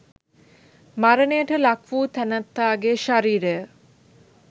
මරණයට ලක් වූ තැනැත්තාගේ ශරීරය